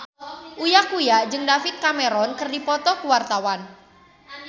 Uya Kuya jeung David Cameron keur dipoto ku wartawan